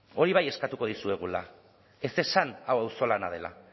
hori bai eskatuko dizuegula ez esan hau auzolana dela